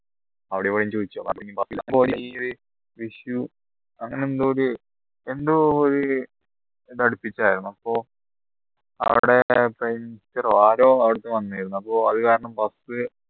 അവിടെ issue അങ്ങനെ എന്തോ ഒരു എന്തോ ഒരു ആയിരുന്നു അപ്പോ ആരോ അവിടുന്ന് വന്നിരുന്നു അപ്പോ അത് കാരണം bus